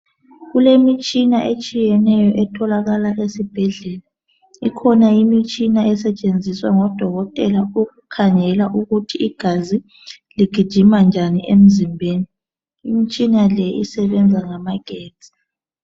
Kulemitshina etshiyeneyo etholakala esibhedlela. Ikhona imitshina esetshenziswa ngodokotela ukukhangela ukuthi igazi ligijima njani emzimbeni. Imitshina le isebenza ngamagetsi.